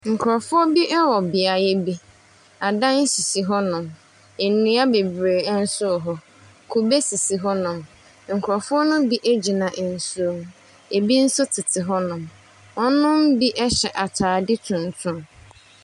Nkurɔfoɔ bi wɔ beaeɛ bi. Adan sisi hɔnom. Nnua bebree nso wɔ hɔ. Kube sisi hɔnom. Nkurɔfoɔ no bi gyina nsuo no ho. Ebi nso tete hɔnom. Wɔnom bi hyɛ atare tuntum.